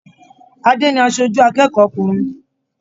Ade ni aṣoju akẹ́kọ̀ọ́ ọkùnrin.